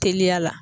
Teliya la